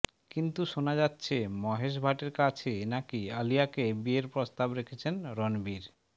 কিন্তু শোনা যাচ্ছে মহেশ ভাটের কাছে নাকি আলিয়াকে বিয়ের প্রস্তাব রেখেছেন রণবীর